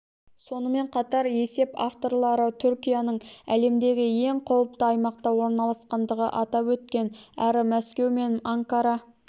сонымен қатар есеп авторлары түркияның әлемдегі ең қауіпті аймақта орналасқандығын атап өткен әрі мәскеу мен анкара